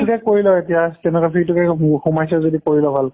এইটোকে কৰি লোৱা এতিয়া stenography , তোৱে সোমাইছা যদি কৰি লোৱা ভালকে।